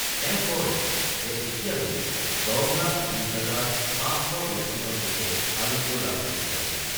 তেওঁ কয় যে এতিয়ালৈ ১০ লাখ ২০ হাজাৰ ৫৮২ জন লোকে আৰোগ্য লাভ কৰিছে।